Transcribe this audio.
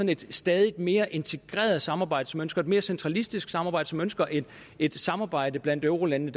et stadig mere integreret samarbejde som ønsker et mere centralistisk samarbejde som ønsker et et samarbejde blandt eurolandene